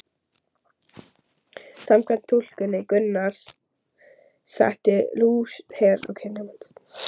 Samkvæmt túlkun Gunnars setti Lúther ekki fram neinar trúfræðilegar skilgreiningar eða viðmiðunarreglur um kristið hjónaband.